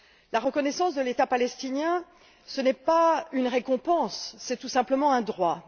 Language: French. La reconnaissance de l'État palestinien, ce n'est pas une récompense, c'est tout simplement un droit.